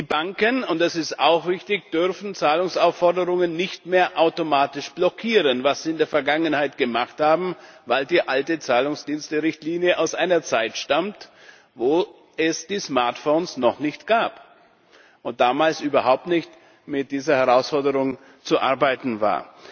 Die Banken und das ist auch richtig dürfen Zahlungsaufforderungen nicht mehr automatisch blockieren, was sie in der Vergangenheit gemacht haben, weil die alte Zahlungsdiensterichtlinie aus einer Zeit stammt, in der es die Smartphones noch nicht gab, und damals überhaupt nicht mit dieser Herausforderung zu arbeiten war.